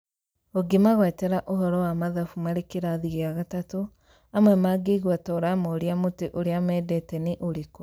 ũngĩmagwetera ũhoro wa mathabu marĩ kĩrathi gĩa gatatũ, amwe mangĩigwa toramoria mũtĩ ũrĩa mendete nĩ ũrĩkũ